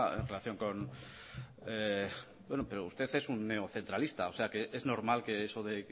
en relación con bueno pero usted un neocentralista o sea que es normal que eso de